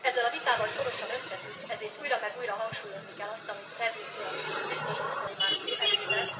Ezzel a vitával szorosan összefügg, ezért újra meg újra hangsúlyozni kell azt, amit Reding biztos asszony már említett,